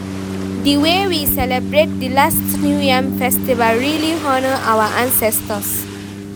di wey we celebrate di last new yam festival really honour our ancestors